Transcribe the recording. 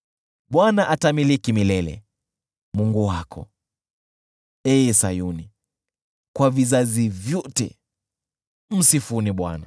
Bwana atamiliki milele, Mungu wako, ee Sayuni, kwa vizazi vyote. Msifuni Bwana .